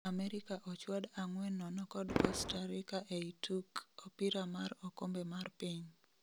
Amerika ochwad 4-0 kod Costa Rica ei tuk Opira mar okombe mar Piny